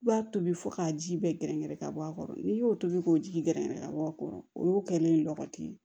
I b'a tobi fo k'a ji bɛɛ gɛrɛgɛrɛ ka bɔ a kɔrɔ n'i y'o tobi k'o ji gɛrɛgɛrɛ ka bɔ a kɔrɔ o y'o kɛlen ye